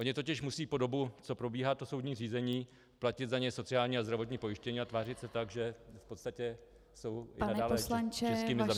Oni totiž musí po dobu, co probíhá to soudní řízení, platit za ně sociální a zdravotní pojištění a tvářit se tak, že v podstatě jsou i nadále českými zaměstnanci.